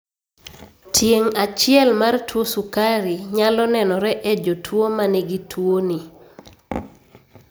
Tieng' achiel mar tuo sukari nyalo nenore e jotuo manigi tuo ni